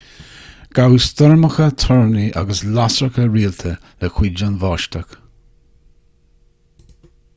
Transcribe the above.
ghabh stoirmeacha toirní agus lasracha rialta le cuid den bháisteach